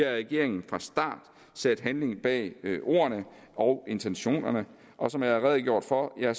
regeringen fra start sat handling bag ordene og intentionerne og som jeg har redegjort for har